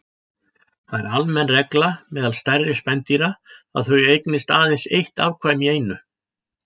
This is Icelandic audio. Það er almenn regla meðal stærri spendýra að þau eignist aðeins eitt afkvæmi í einu.